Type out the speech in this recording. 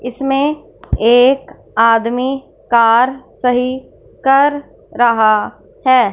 इसमें एक आदमी कार सही कर रहा है।